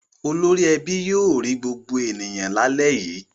Olórí ẹbí yóò rí gbogbo ènìyàn lálẹ́ yìí.